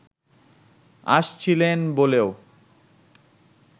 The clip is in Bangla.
আসছিলেন বলেও